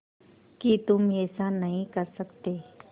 कि तुम ऐसा नहीं कर सकते